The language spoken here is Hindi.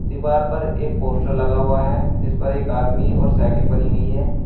दीवार पर एक पोस्टर लगा हुआ है इस पर एक आदमी और साइकिल बनी हुई है।